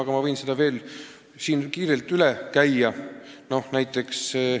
Aga ma võin selle siin veel kord kiirelt üle käia.